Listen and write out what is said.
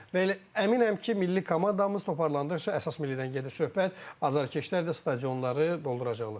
Və elə əminəm ki, milli komandamız toparlandıqca əsas millidən gedir söhbət, azarkeşlər də stadionları dolduracaqlar.